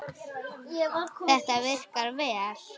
Þetta virkaði vel.